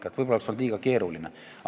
Võib-olla see oleks olnud liiga keeruline.